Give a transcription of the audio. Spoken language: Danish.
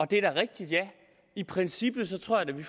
det er da rigtigt i princippet tror jeg da vi